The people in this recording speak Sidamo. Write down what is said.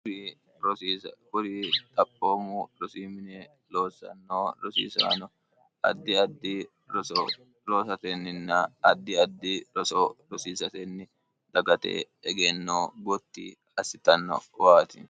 kuri xaphoommu rosiimine loosannoo rosiisaano addi addi roso roosatenninna addi addi roso rosiisatenni dagate egenno gotti assitanno waati